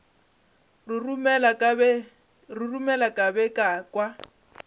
roromela ka be ka kwa